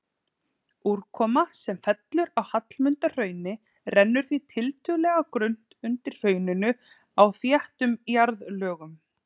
Úrkoma sem fellur á Hallmundarhraun rennur því tiltölulega grunnt undir hrauninu á þéttum jarðlögum.